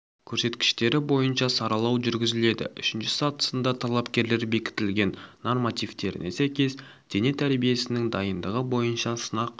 көрсеткіштері бойынша саралау жүргізіледі үшінші сатысында талапкерлер бекітілген нормативтеріне сәйкес дене тәрбиесінің дайындығы бойынша сынақ